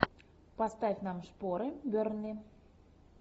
поставь нам шпоры бернли